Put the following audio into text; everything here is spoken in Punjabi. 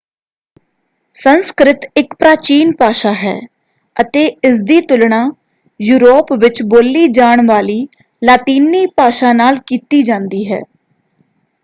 ਸੰਸਕ੍ਰਿਤ ਇੱਕ ਪ੍ਰਾਚੀਨ ਭਾਸ਼ਾ ਹੈ ਅਤੇ ਇਸਦੀ ਤੁਲਣਾ ਯੂਰੋਪ ਵਿੱਚ ਬੋਲੀ ਜਾਣ ਵਾਲੀ ਲਾਤੀਨੀ ਭਾਸ਼ਾ ਨਾਲ ਕੀਤੀ ਜਾਂਦੀ ਹੈ।